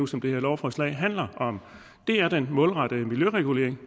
som det her lovforslag handler om det er den målrettede miljøregulering